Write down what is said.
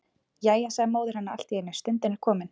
Jæja, sagði móðir hennar allt í einu,-stundin er komin.